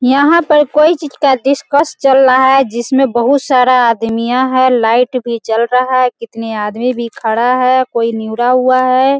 यहां पर कोई चीज का डिस्कस चल रहा है जिसमें बहुत सारा आदमीमियां है लाइट भी जल रहा है कितने आदमी भी खड़ा है कोई न्यौरा हुआ है।